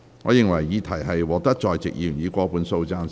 我認為議題獲得在席議員以過半數贊成。